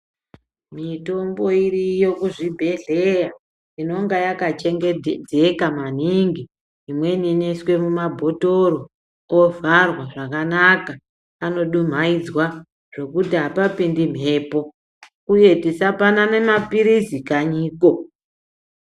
Mitombo iriyo kuzvibhedhleya inenge yakachengetedzeka maningi imweni inoiswe mumabhodhleya ovharwa zvakanaka anodumhaidzwa zvekuti apapindi mbepo uye tisapanane mapirizi kanyiko.